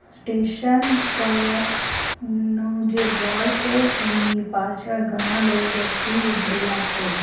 Station પરનો જે board છે એની પાછળ ઘણા લો વ્યક્તિ ઊભેલા છે.